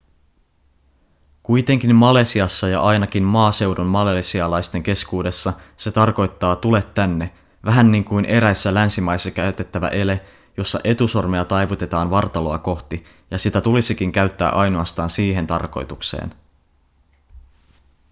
kuitenkin malesiassa ja ainakin maaseudun malesialaisten keskuudessa se tarkoittaa tule tänne vähän niin kuin eräissä länsimaissa käytettävä ele jossa etusormea taivutetaan vartaloa kohti ja sitä tulisikin käyttää ainoastaan siihen tarkoitukseen